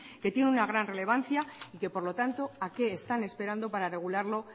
que tiene una gran relevancia y que por lo tanto a qué están esperando para regularlo